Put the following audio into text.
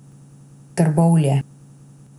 Trbovlje.